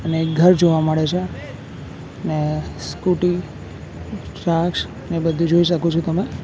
અને એક ઘર જોવા મળે છે ને સ્કુટી ને બધું જોઈ શકો છો તમે.